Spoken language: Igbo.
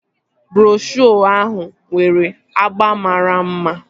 Broshuo ahụ nwere agba mara mma